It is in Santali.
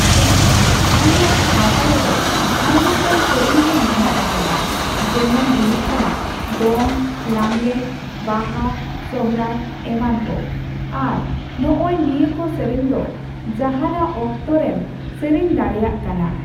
ᱦᱮᱸ, ᱟᱞᱮᱭᱟᱜ ᱥᱟᱣᱛᱟ ᱨᱮᱫᱚ ᱟᱭᱢᱟᱜᱟᱱ ᱥᱮᱨᱮᱧ ᱜᱮ ᱢᱮᱱᱟᱜ ᱟᱠᱟᱫᱟ ᱾ ᱡᱮᱢᱚᱱ ᱦᱩᱭᱩᱜ ᱠᱟᱱᱟ ᱼ ᱫᱚᱝ, ᱞᱟᱜᱽᱬᱮ, ᱵᱟᱦᱟ, ᱥᱩᱨᱦᱟᱭ ᱮᱢᱟᱱ ᱠᱚ ᱾ ᱟᱨ ᱱᱚᱜᱼᱚᱭ ᱱᱤᱭᱟᱹᱠᱚ ᱥᱮᱨᱮᱧ ᱫᱚ, ᱡᱟᱦᱟᱸᱱᱟᱜ ᱚᱠᱛᱚ ᱨᱮᱢ ᱥᱮᱨᱮᱧ ᱫᱟᱲᱮᱭᱟᱜ ᱠᱟᱱᱟ ᱾